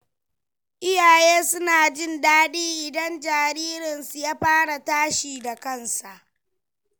Iyaye suna jin daɗi idan jaririnsu ya fara tashi da kansa.